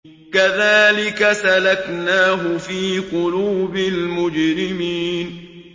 كَذَٰلِكَ سَلَكْنَاهُ فِي قُلُوبِ الْمُجْرِمِينَ